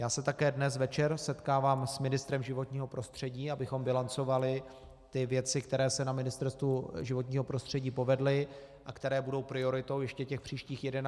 Já se také dnes večer setkám s ministrem životního prostředí, abychom bilancovali ty věci, které se na Ministerstvu životního prostředí povedly a které budou prioritou ještě těch příštích 11 měsíců.